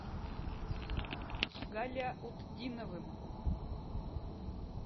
галяутдиновым